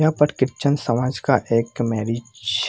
यहाँ पर क्रिस्चियन समाज का एक मैरिज --